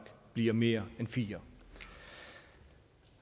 bliver mere end fire